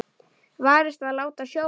Varist að láta sjóða.